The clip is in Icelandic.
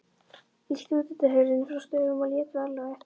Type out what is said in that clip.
Ýtti útidyrahurðinni frá stöfum og lét varlega á eftir sér.